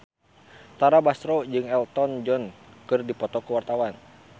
Tara Basro jeung Elton John keur dipoto ku wartawan